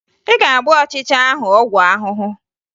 Ị ga-agba ọchịcha ahụ ọgwụ ahụhụ!